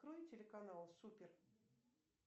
открой телеканал супер